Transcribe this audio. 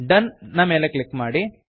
done done ಮೇಲೆ click ಮಾಡಿ